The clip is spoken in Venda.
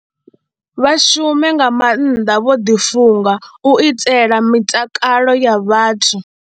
Vha shume nga maanḓa vho ḓifunga u itela mitakalo ya vhathu.